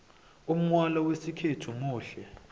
umgwalo wesikhethu muhle